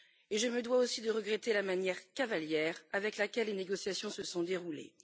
Je me dois aussi de regretter la manière cavalière avec laquelle les négociations se sont déroulées.